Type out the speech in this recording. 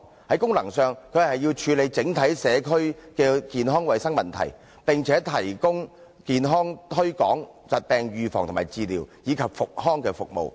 在功能上，它要處理整體社區的健康衞生問題，並且提供健康推廣、疾病預防及治療，以及復康服務。